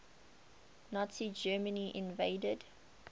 nazi germany invaded